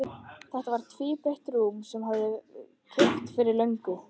Þetta var tvíbreitt rúm sem hann hafði keypt fyrir löngu.